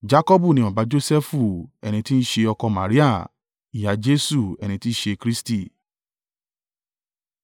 Jakọbu ni baba Josẹfu, ẹni tí ń ṣe ọkọ Maria, ìyá Jesu, ẹni tí í ṣe Kristi.